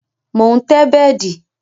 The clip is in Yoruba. Mo ń tẹ́ bẹ́dì